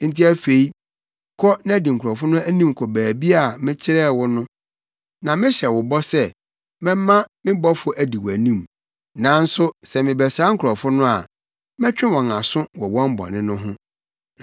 Enti afei, kɔ na di nkurɔfo no anim kɔ baabi a mekyerɛɛ wo no na mehyɛ wo bɔ sɛ mɛma me bɔfo adi wʼanim; nanso sɛ mebɛsra nkurɔfo no a, mɛtwe wɔn aso wɔ wɔn bɔne no ho.”